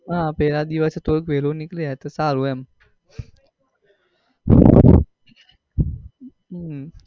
હા પેહલા દિવસે તો થોડું વેહલું નીકળી જાય તો સારું એમ હમ